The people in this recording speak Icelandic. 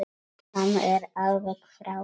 Hann er alveg frábær.